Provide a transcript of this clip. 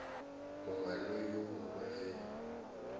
mongwe le yo mongwe ge